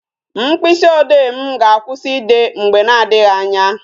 Mkpịsị ode m ga-akwụsị ide mgbe na adịghị anya